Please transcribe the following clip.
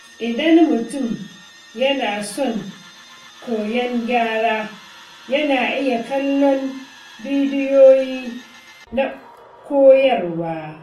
Idan mutum yana son koyan gyara, yana iya kallon bidiyoyi na koyarwa.